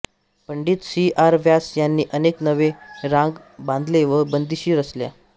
Pandit C R Vyas यांनी अनेक नवीन राग बांधले व बंदिशी रचल्या